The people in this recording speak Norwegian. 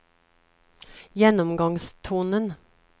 gjennomgangstonen